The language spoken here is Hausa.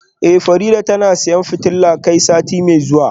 Eh Farida tana siyan fitilar kai sati mai zuwa